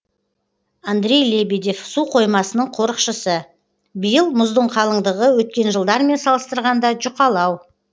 андрей лебедев су қоймасының қорықшысы биыл мұздың қалыңдығы өткен жылдармен салыстырғанда жұқалау